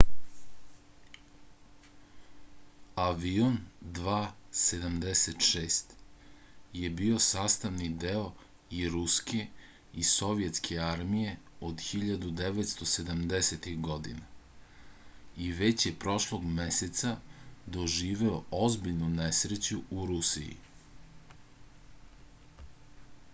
avion il-76 je bio sastavni deo i ruske i sovjetske armije od 1970-ih godina i već je prošlog meseca doživeo ozbiljnu nesreću u rusiji